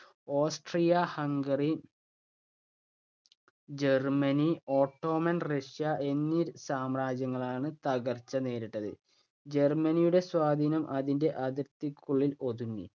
ഓസ്ട്രിയ-ഹംഗറ Germany, Ottoman, Russia എന്നീ സാമ്രാജ്യങ്ങളാണ് തകർച്ച നേരിട്ടത്. ജർമ്മനിയുടെ സ്വാധീനം അതിന്‍റെ അതിർത്തികൾക്കുള്ളിൽ ഒതുങ്ങി.